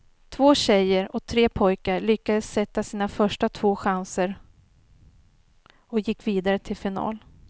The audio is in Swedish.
Två tjejer och tre pojkar lyckades sätta sina första två chanser och gick vidare till final.